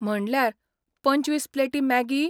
म्हणल्यार, पंचवीस प्लेटी मॅगी?